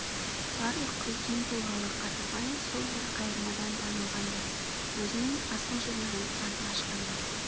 барлық үлкен тұлғалы қадырбай сол бір қайырмадан танылғандай өзінің асыл жүрегін анық ашқандай